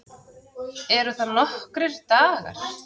Eru það nokkrir dagar?